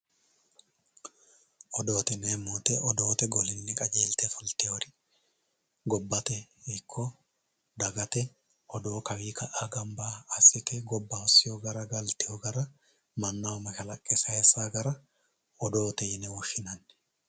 Odoote yineemmo woyite odoote golinni qajeelte fultiwori gobbate ikko dagate odoo kawii ka'a gamba assite gobba hossiwo gara galtiwo gara mannaho mashalaqqe sayissawo gara odoote yine woshshinanni.